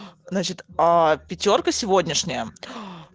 значит пятёрка сегодняшняя